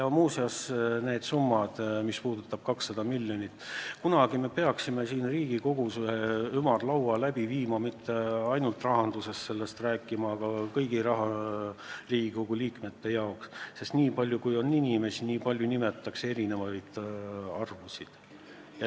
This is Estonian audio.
Muuseas, mis puudutab neid summasid, sh seda 200 miljonit, siis kunagi peaksime siin Riigikogus ühe ümarlaua läbi viima, ja mitte rahanduskomisjonis, vaid kõigi Riigikogu liikmete jaoks, sest nii palju, kui on inimesi, nii palju nimetatakse erinevaid arvusid.